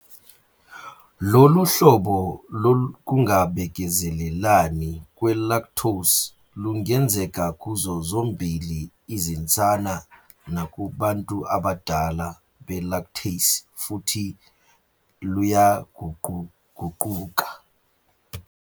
Lolu hlobo lokungabekezelelani kwe-lactose lungenzeka kuzo zombili izinsana nakubantu abadala be-lactase futhi luyaguquguquka.